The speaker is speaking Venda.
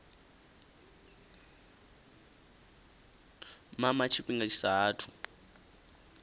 mama tshifhinga tshi sa athu